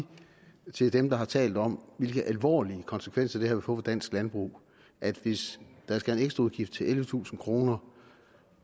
til dem der har talt om hvilke alvorlige konsekvenser det her vil få for dansk landbrug at hvis der skal en ekstraudgift på ellevetusind kroner